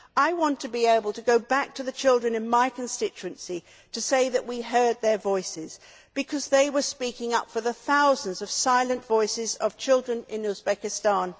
I want to be able to go back to the children in my constituency to say that we heard their voices because they were speaking up for the thousands of silent voices of children in Uzbekistan.